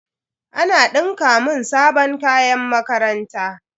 Ana dinka mun sabon kayan makaranta.